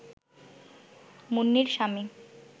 মুন্নির স্বামী